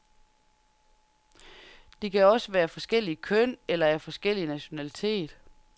De kan også være af forskelligt køn, eller af forskellig nationalitet.